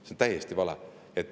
See on täiesti vale.